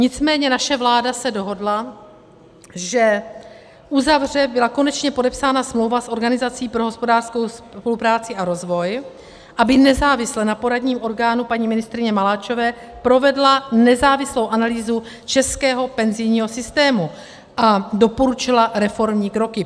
Nicméně naše vláda se dohodla, že uzavře - byla konečně podepsána smlouva s Organizací pro hospodářskou spolupráci a rozvoj, aby nezávisle na poradním orgánu paní ministryně Maláčové provedla nezávislou analýzu českého penzijního systému a doporučila reformní kroky.